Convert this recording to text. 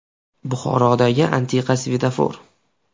Buxorodagi antiqa svetofor.